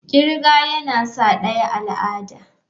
kirga yana sa daya al'ada.